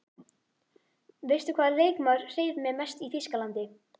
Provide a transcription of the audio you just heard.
Veistu hvaða leikmaður hreif mig mest í Þýskalandi?